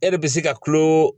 E de bɛ se ka kulo